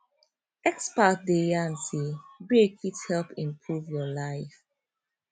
experts dey yarn say break fit help improve your life